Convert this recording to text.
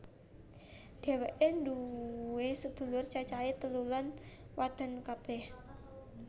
Dhéwéké nduwé sedulur cacahé telu lan wadon kabeh